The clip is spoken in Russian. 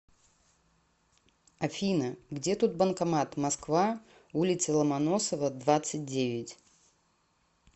афина где тут банкомат москва улица ломоносова двадцать девять